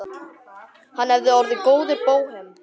Hann hefði orðið góður bóhem.